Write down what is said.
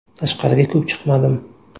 Tashqariga ko‘p chiqmadim.